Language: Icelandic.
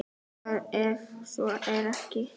Hvað ef svo er ekki?